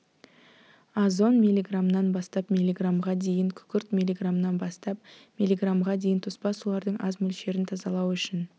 озон миллиграммнан бастап миллиграммға дейін күкірт миллиграммнан бастап миллиграммға дейін тоспа сулардың аз мөлшерін тазалау үшін